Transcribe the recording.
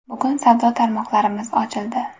Bugun savdo tarmoqlarimiz ochildi.